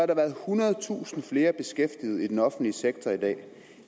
der været ethundredetusind flere beskæftiget i den offentlige sektor i dag